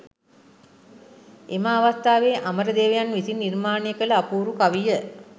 එම අවස්ථාවේ අමරදේවයන් විසින් නිර්මාණය කළ අපූරු කවිය